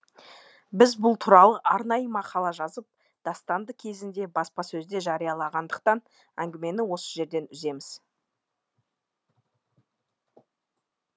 біз бұл туралы арнайы мақала жазып дастанды кезінде баспасөзде жариялағадықтан әңгімені осы жерден үземіз